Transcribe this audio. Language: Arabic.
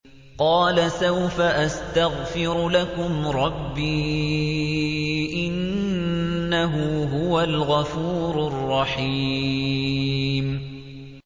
قَالَ سَوْفَ أَسْتَغْفِرُ لَكُمْ رَبِّي ۖ إِنَّهُ هُوَ الْغَفُورُ الرَّحِيمُ